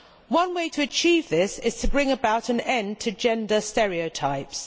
One way to achieve this is to bring about an end to gender stereotypes.